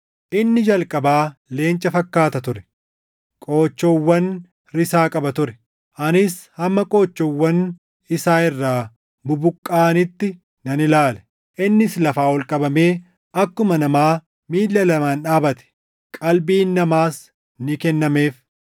“Inni jalqabaa leenca fakkaata ture; qoochoowwan risaa qaba ture. Anis hamma qoochoowwan isaa irraa bubuqqaʼanitti nan ilaale; innis lafaa ol qabamee akkuma namaa miilla lamaan dhaabate; qalbiin namaas ni kennameef.